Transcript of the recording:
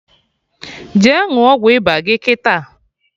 Jee ṅụọ ọgwụ ịba gị kịta!